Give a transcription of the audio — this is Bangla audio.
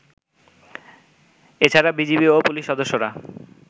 এছাড়া বিজিবি ও পুলিশ সদস্যরা